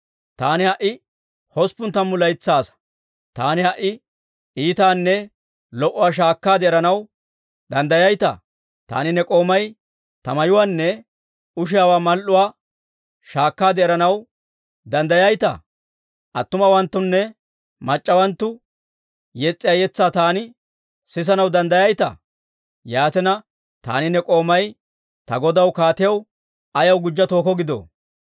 Taani ha"i hosppun tammu laytsaa asaa; taani ha"i iitaanne lo"uwaa shaakkaade eranaw danddayayitaa? Taani ne k'oomay ta miyaawaanne ushiyaawaa mal"uwaa shaakkaade eranaw danddayayitaa? Attumawanttunne mac'c'awanttu yes's'iyaa yetsaa taani sisanaw danddayayitaa? Yaatina, taani ne k'oomay ta godaw kaatiyaw ayaw gujja tookko gidoo?